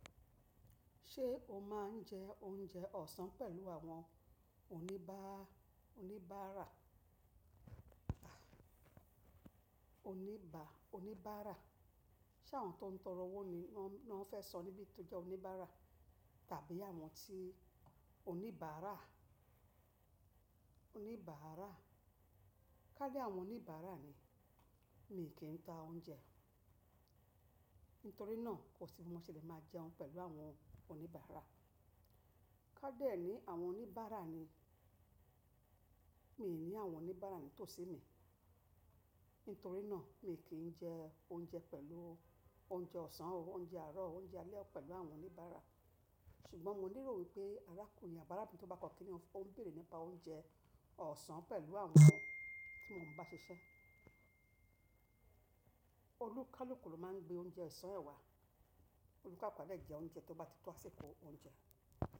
Ṣé o máa ń jẹ oúnjẹ ọ̀sán pẹ̀lú àwọn oníbàárà? Ṣé àwọn tó ń torọ owó ni wọ́n fẹ́ sọ níbí tó jẹ́ oníbàárà, tàbí àwọn tí oníbàárà? Kání àwọn oníbàárà ni, mi kì í ta oúnjẹ, nítorí náà kò sí bí mo ṣe lè máa jẹun pẹ̀lú àwọn oníbàárà. Kádẹ̀ ẹ́ ni àwọn oníbàárà ni, mi ò ní àwọn oníbàárà ní tòsí mi, nítorí náà mi kì í jẹ oúnjẹ pẹ̀lú oúnjẹ ọ̀sán, oúnjẹ àárọ̀, oúnjẹ alẹ́ pẹ̀lú àwọn oníbàárà. Ṣùgbọ́n mo ní lérò pé arákùnrin àbí arabìnrin tí ó bá kọ́ kíní, ó ń bèrè nípa oúnjẹ ọ̀sán pẹ̀lú àwọn tí mo ń bá ṣiṣẹ́. Olúkálúkù ló máa ń gbé oúnjẹ ọ̀sán ẹ wá. Olúkálùkù à de jẹ oúnjẹ tí ó bá ti tó àsìkò oúnjẹ.